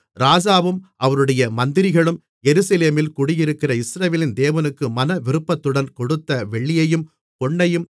ராஜாவும் அவருடைய மந்திரிகளும் எருசலேமில் குடியிருக்கிற இஸ்ரவேலின் தேவனுக்கு மனவிருப்பத்துடன் கொடுத்த வெள்ளியையும் பொன்னையும்